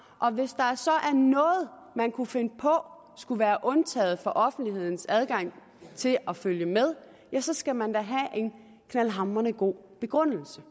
og hvis der så er noget man kunne finde på skulle være undtaget for offentlighedens adgang til at følge med ja så skal man da have en knaldhamrende god begrundelse